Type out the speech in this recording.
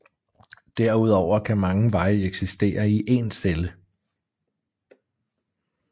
Derudover kan mange veje eksistere i én celle